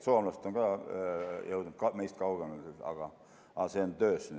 Soomlased on küll jõudnud meist kaugemale, aga see on töös.